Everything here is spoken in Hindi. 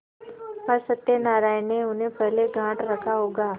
पर सत्यनारायण ने उन्हें पहले गॉँठ रखा होगा